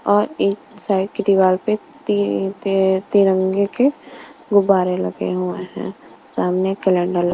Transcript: और एक साइड की दीवार पे ती-- ते-- तिरंगे के गुब्बारे लगे हुए हैं सामने कैलेंडर --.